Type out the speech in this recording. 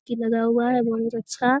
की लगा हुआ है बहुत अच्छा --